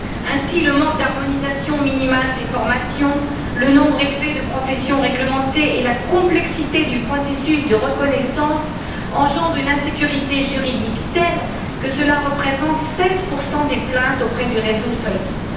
Ainsi, le manque d'harmonisation minimale des formations, le nombre élevé de professions réglementées et la complexité du processus de reconnaissance engendrent une insécurité juridique telle que cela représente 16 des plaintes auprès du réseau SOLVIT.